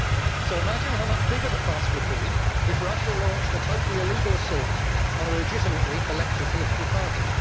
So imagine how much bigger the fuss would be if Russia launched a totally illegal assault on a legitimately elected political party.